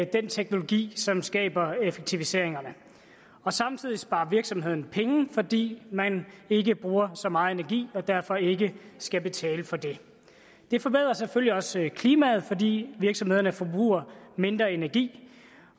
den teknologi som skaber effektiviseringerne samtidig sparer virksomhederne penge fordi man ikke bruger så meget energi og derfor ikke skal betale for det det forbedrer selvfølgelig også klimaet fordi virksomhederne forbruger mindre energi